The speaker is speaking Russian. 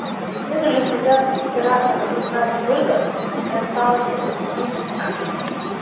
мне нужно связаться с оператором узнать сколько мне осталось денег на карте